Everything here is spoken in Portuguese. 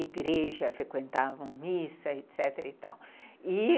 igreja, frequentavam missa, etecetera e tal. E